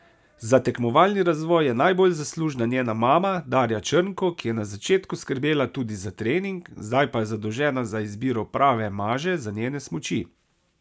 Za tekmovalni razvoj je najbolj zaslužna njena mama Darja Črnko, ki je na začetku skrbela tudi za trening, zdaj pa je zadolžena za izbiro prave maže za njene smuči.